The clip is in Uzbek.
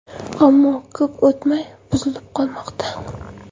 Ammo ko‘p o‘tmay buzilib qolmoqda.